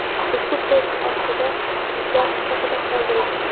ushbu post ostida izoh sifatida qoldiring.